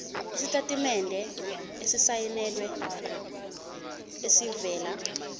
isitatimende esisayinelwe esivela